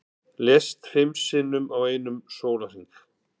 Lést fimm sinnum á einum sólarhring